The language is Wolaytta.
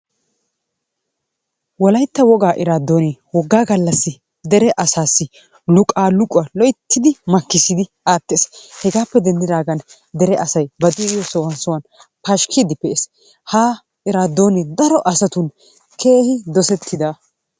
Wolaytta wogaa eraadoonee wogaa gallassi dere asaassi luqaaluqquwa loyttidi makkisssidi aattees. Hegaappe denndidagan dere asay ba de'iyo sohuwan sohuwan pashkiidi pee'ees, ha eraadoonee daro asatun keehi dosettida.